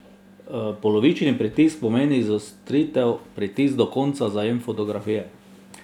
Polovični pritisk pomeni izostritev, pritisk do konca zajem fotografije.